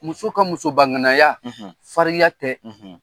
Muso ka musobaŋanaya farinya tɛ .